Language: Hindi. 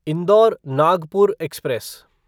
indoor Nagpur express